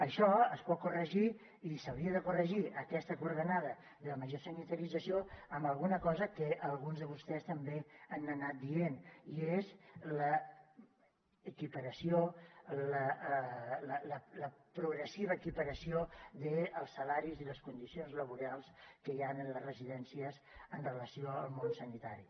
això es pot corregir i s’hauria de corregir aquesta coordenada de la major sanitarització amb alguna cosa que alguns de vostès també han anat dient i és l’equiparació la progressiva equiparació dels salaris i les condicions laborals que hi ha en les residències amb relació al món sanitari